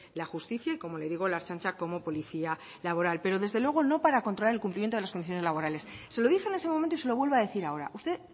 la justicia y como le digo la ertzaintza como policía laboral pero desde luego no para contraer el cumplimiento de las condiciones laborales se lo dije en ese momento y se lo vuelvo a decir ahora usted